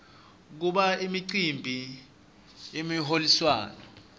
kuba imicimbi yemiholiswano